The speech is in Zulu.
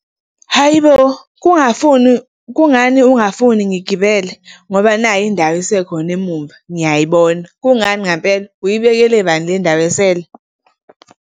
Hhayi bo! Kungafuni, kungani ungafuni ngigibele ngoba nayi indawo isekhona emuva, ngiyayibona. Kungani ngempela, uyibekele bani le ndawo esele?